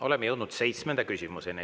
Oleme jõudnud seitsmenda küsimuseni.